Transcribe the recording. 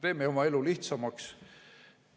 Teeme oma elu lihtsamaks.